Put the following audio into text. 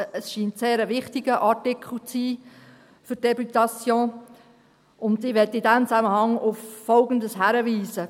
Es scheint ein sehr wichtiger Artikel zu sein für die Députation, und ich möchte in diesem Zusammenhang auf Folgendes hinweisen: